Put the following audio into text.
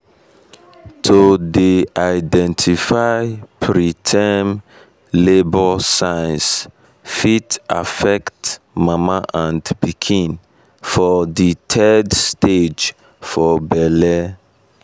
to dey identify preterm preterm labour signs fit affect mama and pikin for de third stage for belle